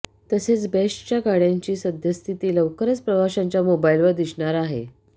तसेच बेस्टच्या गाडय़ांची सद्यस्थिती लवकरच प्रवाशांच्या मोबाईलवर दिसणार आहे